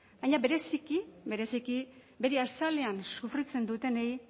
baina bereziki bereziki bere azalean sufritzen dutenei